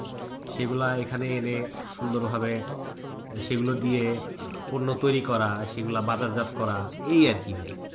যেগুলা এখানে এনে সুন্দরভাবে সেগুলা দিয়ে পণ্য তৈরী করা, সেগুলা বাজারজাত করা, এই আরকি ভাই।